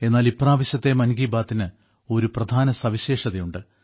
എന്നാൽ ഇപ്രാവശ്യത്തെ മൻ കി ബാത്തിന് ഒരു പ്രധാന സവിശേഷതയുണ്ട്